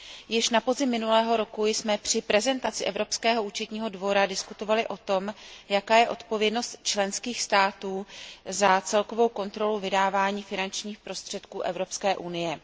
Již na podzim minulého roku jsme při prezentaci Evropského účetního dvora diskutovali o tom, jaká je odpovědnost členských států za celkovou kontrolu vydávání finančních prostředků Evropské unie.